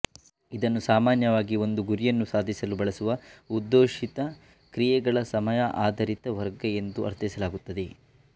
ಇದನ್ನು ಸಾಮಾನ್ಯವಾಗಿ ಒಂದು ಗುರಿಯನ್ನು ಸಾಧಿಸಲು ಬಳಸುವ ಉದ್ದೇಶಿತ ಕ್ರಿಯೆಗಳ ಸಮಯಾಧಾರಿತ ವರ್ಗ ಎಂದು ಅರ್ಥೈಸಲಾಗುತ್ತದೆ